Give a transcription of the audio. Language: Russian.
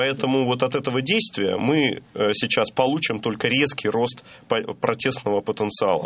поэтому вот от этого действия мы сейчас получим только резкий рост протестного потенциала